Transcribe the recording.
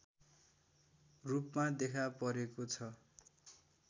रूपमा देखा परेको छ